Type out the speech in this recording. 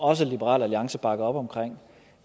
også liberal alliance bakker op om